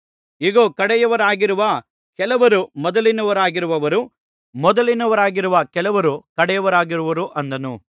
ಇಗೋ ಕಡೆಯವರಾಗಿರುವ ಕೆಲವರು ಮೊದಲಿನವರಾಗುವರು ಮೊದಲಿನವರಾಗಿರುವ ಕೆಲವರು ಕಡೆಯವರಾಗುವರು ಅಂದನು